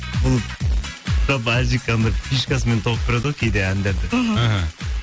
бұл жалпы әлжик анандай фишкасымен тауып береді ғой кейде әндерді мхм іхі